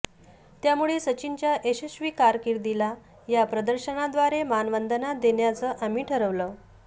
त्यामुळे सचिनच्या यशस्वी कारकीर्दीला या प्रदर्शनाद्वारे मानवंदना देण्याचं आम्ही ठरवलं